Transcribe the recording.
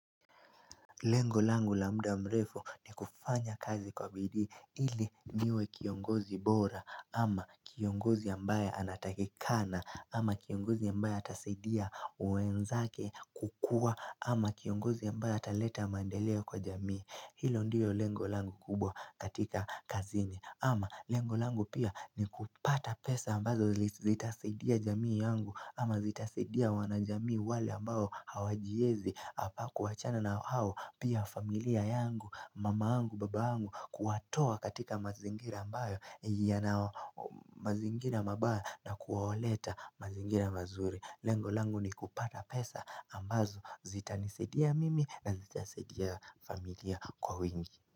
Lengo langu la muda mrefu ni kufanya kazi kwa bidii ili niwe kiongozi bora ama kiongozi ambaye anatakikana ama kiongozi ambaye atasaidia wenzake kukua ama kiongozi ambaye ataleta mandeleo kwa jamii. Hilo ndiyo lengo langu kubwa katika kazini ama lengo langu pia ni kupata pesa ambazo zitasaidia jamii yangu ama zitasaidia wana jamii wale ambao hawajiezi au kuwachana na hao pia familia yangu, mama yangu, baba yangu kuwatoa katika mazingira ambayo yana mazingira mabaya na kuwaleta mazingira mazuri Lengo langu ni kupata pesa ambazo zitanisaidia mimi na zitasaidia familia kwa wingi.